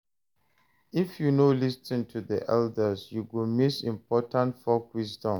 If you no lis ten to the elders, you go miss important folk wisdom.